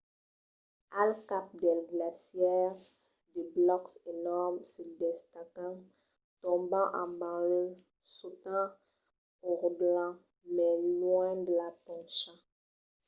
al cap dels glacièrs de blòcs enòrmes se destacan tomban e benlèu sautan o rodelan mai luènh de la poncha